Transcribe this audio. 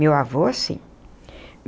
Meu avô, sim.